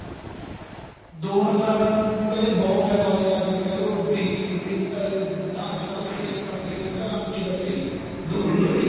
ਦੋ ਨੰਬਰ ਆਲਿਆ ਨੂੰ ਕਹਿੰਦੇ ਬਹੁਤ ਫਾਇਦਾ ਹੋਇਆ ਜਿਵੇਂ ਕਹਿਲੋ drinking ਅਹ ਅੱਜਕਲ sale ਕਰਦੇ ਆ ਘਰਾਂ ਵਿੱਚ ਬੈਠੇ ਦੋ ਨੰਬਰ ਦੀ